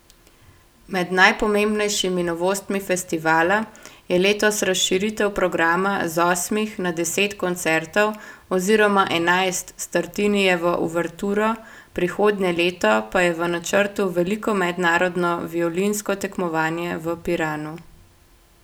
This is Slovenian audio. Med najpomembnejšimi novostmi festivala je letos razširitev programa z osmih na deset koncertov oziroma enajst s Tartinijevo uverturo, prihodnje leto pa je v načrtu veliko mednarodno violinsko tekmovanje v Piranu.